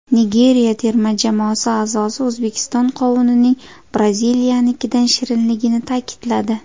Nigeriya terma jamoasi a’zosi O‘zbekiston qovunining Braziliyanikidan shirinligini ta’kidladi.